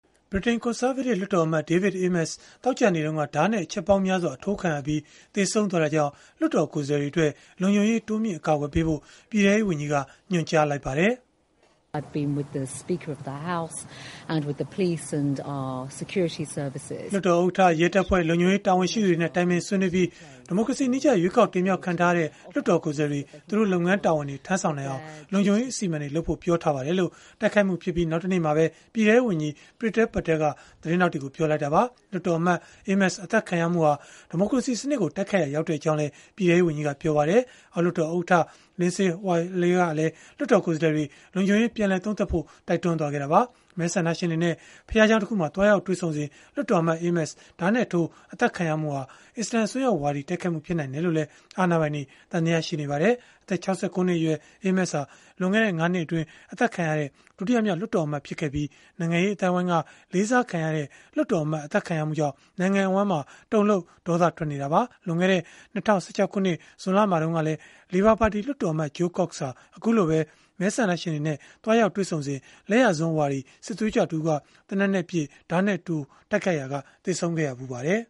ဗြိတိန် ကွန်ဆာဗေးတစ် လွှတ်တော်အမတ် David Amess သောကြာနေ့တုန်းက ဓားနဲ့ အချက်ပေါင်းများစွာ အထိုးခံရပြီး သေဆုံးသွားတာကြောင့် လွှတ်တော်ကိုယ်စားလှယ်တွေအတွက် လုံခြုံရေး တိုးမြှင့် အကာအကွယ်ပေးဖို့ ပြည်ထဲရေးဝန်ကြီးက ညွှန်ကြားလိုက်ပါတယ်။ “လွှတ်တော်ဥက္ကဋ္ဌ၊ ရဲတပ်ဖွဲ့၊ လုံခြုံရေး တာဝန်ရှိသူတွေနဲ့ တိုင်ပင်ဆွေးနွေးပြီး ဒီမိုကရေစီနည်းကျ ရွေးကောက်တင်မြှောက်ခံထားရတဲ့ လွှတ်တော်ကိုယ်စားလှယ်တွေ သူတို့လုပ်ငန်းတာဝန်တွေ ထမ်းဆောင်နိုင်အောင် လုံခြုံရေးအစီအမံတွေ လုပ်ဖို့ ပြောထားပါတယ်။” လို့ တိုက်ခိုက်မှုဖြစ်ပြီး နောက်တနေ့မှာပဲ ပြည်ထဲရေးဝန်ကြီး Priti Patel က သတင်းထောက်တွေကို ပြောလိုက်တာပါ။ လွှတ်တော်အမတ် Amess အသတ်ခံရမှုဟာ ဒီမိုကရေစီစနစ်ကို တိုက်ခိုက်ရာ ရောက်ကြောင်းလည်း ပြည်ထဲရေးဝန်ကြီးက ပြောပါတယ်။ အောက်လွှတ်တော်ဥက္ကဋ္ဌ Lindsay Hoyle ကလည်း လွှတ်တော်ကိုယ်စားလှယ်တွေ လုံခြုံရေး ပြန်လည်သုံးသပ်ဖို့ တိုက်တွန်းခဲ့တာပါ။ မဲဆန္ဒရှင်တွေနဲ့ ဘုရားကျောင်းတခုမှာ သွားရောက်တွေ့ဆုံစဉ် လွှတ်တော်အမတ် Amess ဓားနဲ့ထိုး အသတ်ခံရမှုဟာ အစ္စလာမ် အစွန်းရောက်ဝါဒီ တိုက်ခိုက်မှု ဖြစ်နိုင်တယ်လို့လည်း အာဏာပိုင်တွေ သံသယရှိနေပါတယ်။ အသက် ၆၉ နှစ်အရွယ် Amess ဟာ လွန်ခဲ့တဲ့ ၅ နှစ်အတွင်း အသတ်ခံရတဲ့ ဒုတိယမြောက် လွှတ်တော်အမတ် ဖြစ်ခဲ့ပြီး နိုင်ငံရေးအသိုင်းအဝန်းက လေးစားခံရတဲ့ လွှတ်တော်အမတ် အသတ်ခံရမှုကြောင့် နိုင်ငံအဝန်းမှာ တုန်လှုပ် ဒေါသထွက်နေကြတာပါ။ လွန်ခဲ့တဲ့ ၂၀၁၆ ခုနှစ် ဇွန်လမှာတုန်းကလည်း လေဘာပါတီ လွှတ်တော်အမတ် Jo Cox ဟာ အခုလိုပဲ မဲဆန္ဒရှင်တွေနဲ့ သွားရောက်တွေ့ဆုံစဉ်မှာ လက်ယာစွန်းဝါဒီ စစ်သွေးကြွတဦးက သေနတ်နဲ့ပစ်၊ ဓားနဲ့ထိုး တိုက်ခိုက်ရာက သေဆုံးခဲ့ဖူးပါတယ်